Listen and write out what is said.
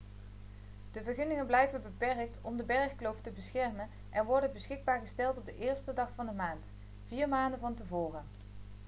de vergunningen blijven beperkt om de bergkloof te beschermen en worden beschikbaar gesteld op de 1e dag van de maand vier maanden van tevoren